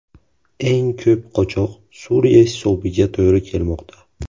Eng ko‘p qochoq Suriya hisobiga to‘g‘ri kelmoqda.